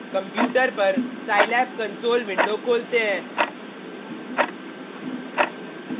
computer पर scilab console window खोलते हैं